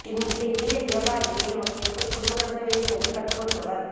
இந்த இதய வியாபாரியே நமக்கு எப்படி குடும்பம் நடத்த வேண்டும் என்று கற்றுக் கொடுத்தவர்